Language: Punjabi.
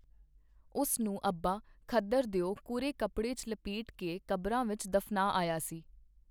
ਉਸਨੂੰ ਅੱਬਾ ਖੱਦਰ ਦਿਓ ਕੋਰੇ ਕੱਪੜੇ ਚ ਲਪੇਟ ਕੇ ਕਬਰਾਂ ਵਿੱਚ ਦਫ਼ਨਾ ਆਇਆ ਸੀ.